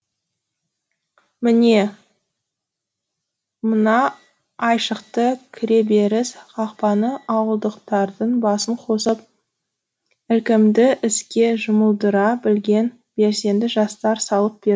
міне мына айшықты кіреберіс қақпаны ауылдықтардың басын қосып ілкімді іске жұмылдыра білген белсенді жастар салып